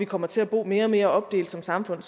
kommer til at bo mere og mere opdelt som samfund